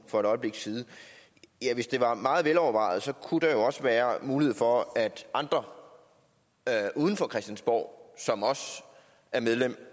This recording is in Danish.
for et øjeblik siden hvis det var meget velovervejet kunne der jo også være mulighed for at andre uden for christiansborg som også er medlemmer